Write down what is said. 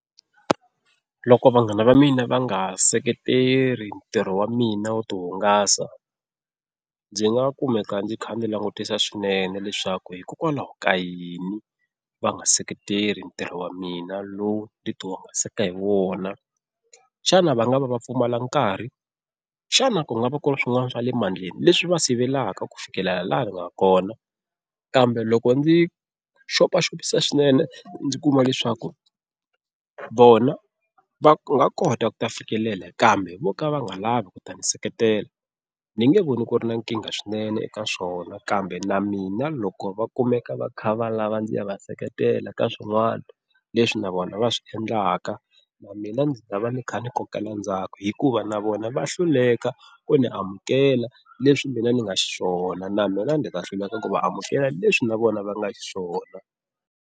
Loko vanghana va mina va nga seketeri ntirho wa mina wo ti hungasa ndzi nga kumeka ndzi kha ndzi langutisa swinene leswaku hikokwalaho ka yini va nga seketela ntirho wa mina lowu ni ti hungasaka hi wona. Xana va nga va va pfumala nkarhi, xana ku nga va ku ri swin'wana swa le mandleni leswi va sivelaka ku fikelela laha ni nga kona, kambe loko ndzi xopaxopisa swinene ndzi kuma leswaku vona va nga kota ku ta fikelela kambe vo ka va nga lavi ku ta ni seketela ni nge voni ku ri na nkingha swinene eka swona, kambe na mina loko va kumeka va kha va lava ndzi ya va seketela ka swin'wana leswi na vona va swi endlaka na mina ndzi ta va ni kha ni kokela ndzhaku hikuva na vona va hluleka ku ni amukela leswi mina ni nga xiswona na mina ndzi ta hluleka ku va amukela leswi na vona va nga xiswona.